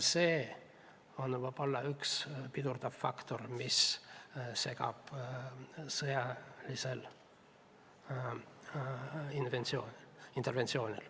See ongi võib-olla üks pidurdav faktor, mis segab sõjalist interventsiooni.